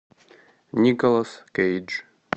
николас кейдж